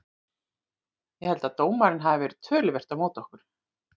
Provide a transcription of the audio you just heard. Ég held að dómarinn hafi verið töluvert á móti okkur.